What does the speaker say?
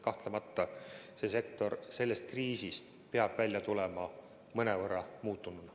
Kahtlemata peab see sektor sellest kriisist välja tulema mõnevõrra muutununa.